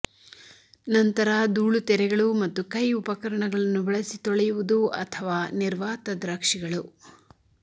ನಂತರ ಧೂಳು ತೆರೆಗಳು ಮತ್ತು ಕೈ ಉಪಕರಣಗಳನ್ನು ಬಳಸಿ ತೊಳೆಯುವುದು ಅಥವಾ ನಿರ್ವಾತ ದ್ರಾಕ್ಷಿಗಳು